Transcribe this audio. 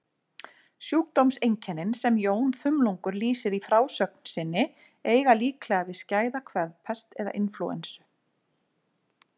Sjúkdómseinkennin sem Jón þumlungur lýsir í frásögn sinni eiga líklega við skæða kvefpest eða inflúensu.